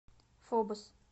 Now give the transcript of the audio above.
фобос